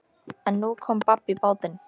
En nú kom babb í bátinn.